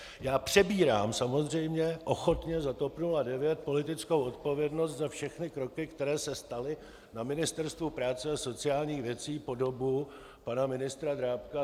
Já přebírám samozřejmě ochotně za TOP 09 politickou odpovědnost za všechny kroky, které se staly na Ministerstvu práce a sociálních věcí po dobu pana ministra Drábka.